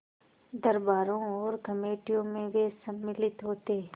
दरबारों और कमेटियों में वे सम्मिलित होते